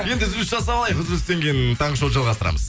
енді үзіліс жасап алайық үзілістен кейін таңғы шоуды жалғастырамыз